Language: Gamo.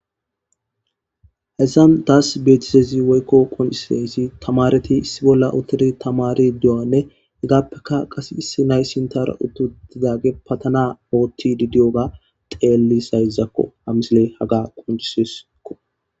Haysan tas beetizaysi woyko qoncisizaysi temaareti issi bolla uthidi tamaaridi de'iyogane hegapeka kase issi na'ay ha sinthera uthutidage patana oothidi de'iyoga xeelizaysako ha misile tas haga qoncises.